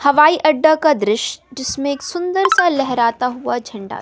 हवाई अड्डा का दृश्य जिसमें एक सुंदर सा लहराता हुआ झंडा--